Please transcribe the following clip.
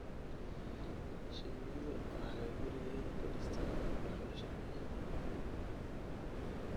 Shinnidu waxay gurigeeda ku dhistaa dhuxul shini.